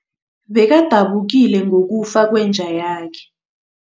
Bekadabukile ngokufa kwenja yakhe.